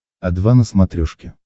о два на смотрешке